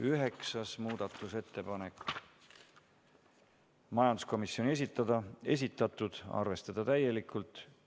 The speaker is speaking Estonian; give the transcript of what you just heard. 9. muudatusettepanek, majanduskomisjoni esitatud, arvestada täielikult.